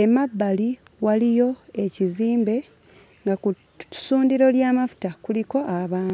Emabbali waliyo ekizimbe nga ku ssundiro ly'amafuta kuliko abantu.